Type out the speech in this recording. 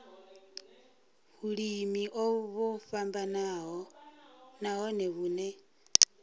vhulimi o vhofhanaho nahone vhune